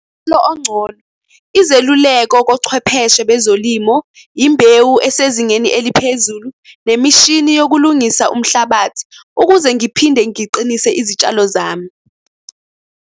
Ongcono, izeluleko kochwepheshe bezolimo, imbewu esezingeni eliphezulu, nemishini yokulungisa umhlabathi ukuze ngiphinde ngiqinise izitshalo zami.